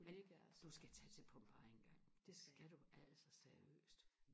du skal tage til Pompeji engang det skal du altså seriøst